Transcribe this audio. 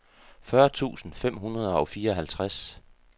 fyrre tusind fem hundrede og fireoghalvtreds